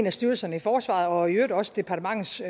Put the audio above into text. af styrelserne i forsvaret og i øvrigt også departementets